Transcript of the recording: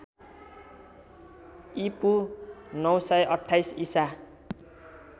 ईपू ९२८ ईसा